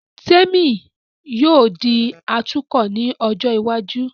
Témì yóò di atukọ̀ ní ọjọ́ iwájú